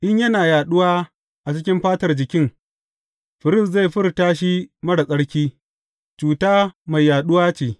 In yana yaɗuwa a cikin fatar jikin, firist zai furta shi marar tsarki; cuta mai yaɗuwa ce.